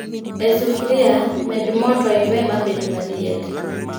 E sufria, med moo to iwe mabed maliet